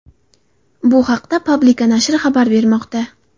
Bu haqda Publika nashri xabar bermoqda.